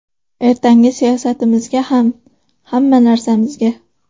Ertangi siyosatimizga ham, hamma narsamizga.